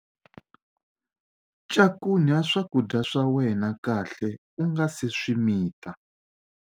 Cakunya swakudya swa wena kahle u nga si swi mita.